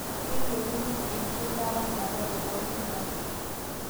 Keyieuni enkitawang'ata te pooki nias